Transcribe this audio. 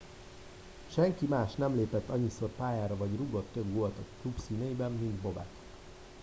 senki más nem lépett annyiszor pályára vagy rúgott több gólt a klub színeiben mint bobek